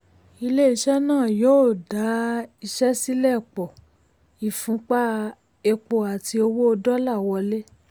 ilé-iṣẹ́ náà yóò dá iṣẹ́ sílẹ̀ pọ̀ ìfúnpá um epo àti owó dọ́là wọlé.